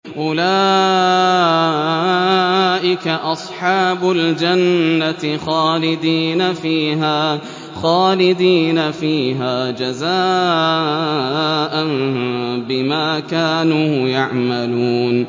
أُولَٰئِكَ أَصْحَابُ الْجَنَّةِ خَالِدِينَ فِيهَا جَزَاءً بِمَا كَانُوا يَعْمَلُونَ